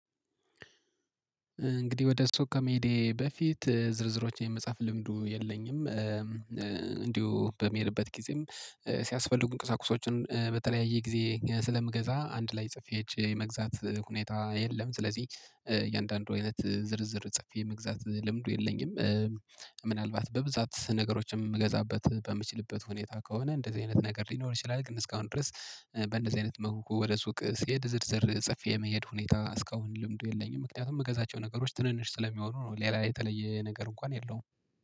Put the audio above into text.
እንግዲህ ወደ ሱቅ ከመሄዴ በፊት ዝርዝሮችን የመጻፍ ልምዱ የለኝም እንዲሁ በምሄድበት ጊዜም ሲያስፈልጉኝ ቁሳቁሶችን በተለያየ ጊዜ ስለምገዛ አንድ ላይ ጽፌ ሄጄ የመግዛት ሁኔታ የለም ስለዚህ እያንዳንዱ አይነት ዝርዝር ጽፌ የመግዛት ልምዱ የለኝም። ምናልባት በብዛት ነገሮችን የምገዛበት በምችልበት ሁኔታ ከሆነ እንደዚህ አይነት ነገር ሊኖር ይችላል። ግን እስካሁን ድረስ በእንደዚህ አይነት መልኩ ወደ ሱቅ ስሄድ ዝርዝር ጽፌ የመሄድ ሁኔታ እስካሁን ልምዱ የለኝም። ምክንያቱም ምገዛቸው ነገሮች ትንንሽ ስለሚሆኑ ነው ሌላ ላይ የተለየ ነገር እንኳን የለውም